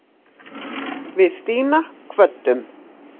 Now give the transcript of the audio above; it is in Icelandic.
Við Stína kvöddum.